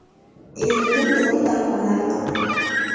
Erimni dori-darmonlarini olaman.